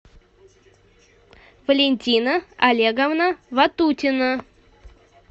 валентина олеговна ватутина